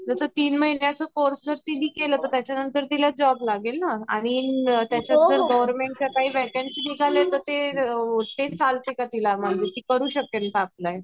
जस तीन महीन्याच कोर्से जर तिने केला तर त्याच्या नंतर तिला जॉब लागेल ना आणि त्याच्यात जर गवर्नमेंट च्या काही वेकेंसी निघल्या तर ते चालते का तिला? ते करू शकेल का अप्लाई?